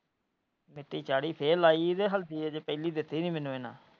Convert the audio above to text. ਤੇ ਹਲਦੀ ਅੱਜੇ ਪਹਿਲੀ ਦਿੱਤੀ ਨਹੀਂ ਮੈਨੂੰ ਇਹਨਾਂ।